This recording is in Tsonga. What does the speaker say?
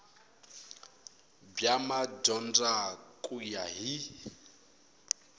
bya madyondza ku ya hi